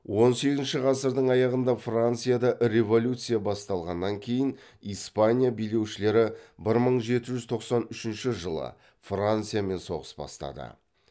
он сегізінші ғасырдың аяғында францияда революция басталғаннан кейін испания билеушілері бір мың жеті жүз тоқсан үшінші жылы франциямен соғыс бастады